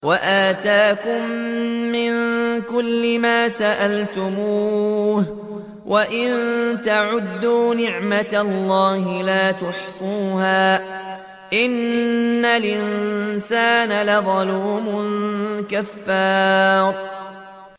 وَآتَاكُم مِّن كُلِّ مَا سَأَلْتُمُوهُ ۚ وَإِن تَعُدُّوا نِعْمَتَ اللَّهِ لَا تُحْصُوهَا ۗ إِنَّ الْإِنسَانَ لَظَلُومٌ كَفَّارٌ